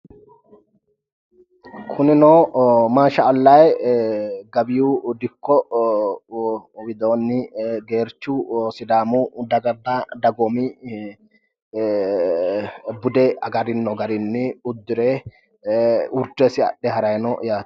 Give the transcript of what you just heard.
Kunino mashi allahi gabiyu dikko widoonni geerchu sidaamu daganna dagoomi bude agarinno garinni uddire urdesi adhe haranni no yaate.